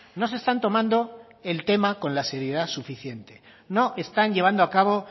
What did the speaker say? no se están tomando el tema con la seriedad suficiente no están llevando a cabo